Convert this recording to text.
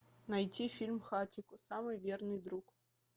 найти фильм хатико самый верный друг